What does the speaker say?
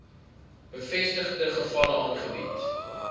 bevestigde gevalle aangebied